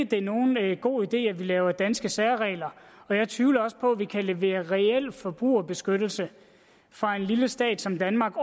det er nogen god idé at vi laver danske særregler og jeg tvivler også på at vi kan levere reel forbrugerbeskyttelse fra en lille stat som danmarks